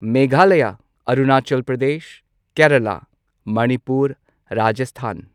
Meghalaya Arunachal Pradesh Kerala Manipur Rajasthan